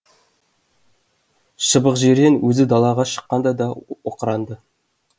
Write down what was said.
шыбықжирен өзі далаға шыққанда да оқыранды